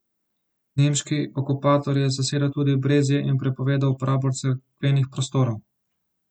Nemški okupator je zasedel tudi Brezje in prepovedal uporabo cerkvenih prostorov.